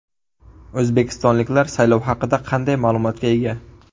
O‘zbekistonliklar saylov haqida qanday ma’lumotga ega?